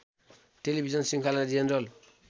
television शृंखला general